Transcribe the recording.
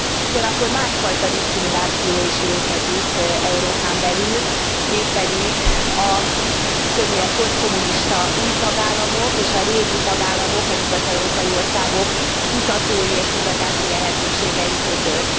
Ugyanakkor másfajta diszkrimináció is létezik Európán belül, mégpedig többnyire a posztkommunista új tagállamok és a régi tagállamok, a nyugat európai országok kutatói és kutatási lehetőségei között.